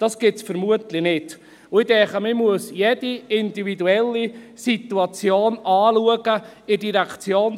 Ich denke, man muss in der Direktionsreform jede individuelle Situation anschauen: